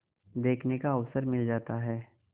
देखने का अवसर मिल जाता है